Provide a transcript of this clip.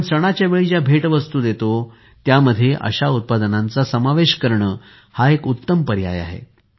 आपण सणाच्यावेळी ज्या भेटवस्तू देतो त्यामध्ये अशा उत्पादनांचा समावेश करणे हा एक उत्तम पर्याय आहे